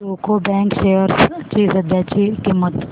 UCO bank shares ची सध्याची किंमत